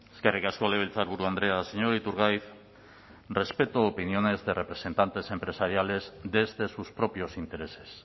eskerrik asko legebiltzarburu andrea señor iturgaiz respeto opiniones de representantes empresariales desde sus propios intereses